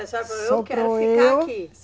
A senhora. Sobrou eu. Eu quero ficar aqui.